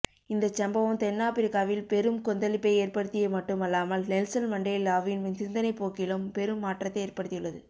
இந்தச் சம்பவம் தென்னாபிரிக்காவில் பெரும் கொந்தழிப்பை ஏற்படுத்திய மட்டுமல்லாமல் நெல்சன் மண்டேலாவின் சிந்தனைப் போக்கிலும் பெரும் மாற்றத்தை ஏற்படுத்தியது